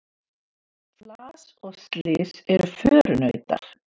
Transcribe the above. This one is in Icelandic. Flas og slys eru förunautar.